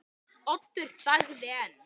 Oddur þagði enn.